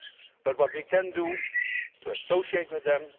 but what we can do is to associate with them.